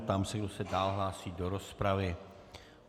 Ptám se, kdo se dál hlásí do rozpravy.